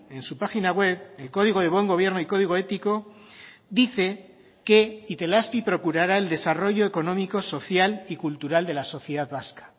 en su página web el código de buen gobierno y código ético dice que itelazpi procurará el desarrollo económico social y cultural de la sociedad vasca